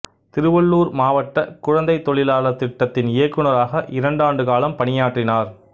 திருவள்ளூர் மாவட்ட குழந்தைத் தொழிலாளர் திட்டத்தின் இயக்குனராக இரண்டு ஆண்டு காலம் பணியாற்றினார்